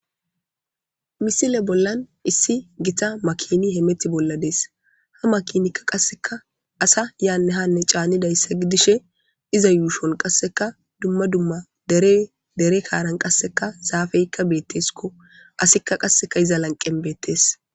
Misile bollan issi gita makini hemeti bolla dees ha makinikka qasseka asa yaanne hanne caanidayssa gidishe iza yuushon qasseka dumma dumma dere dere kaaran qasseka zaafeykka beetteskko asikka qasseka iza lanqen beettees.